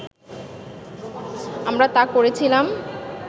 আমরা তা করেছিলাম